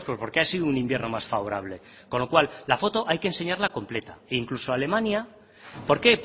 porque ha sido un invierno más favorable con lo cual la foto hay que enseñarla completa incluso alemania por qué